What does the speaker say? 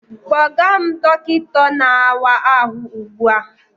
Kpọga m dọkịta na-awa ahụ ugbu a!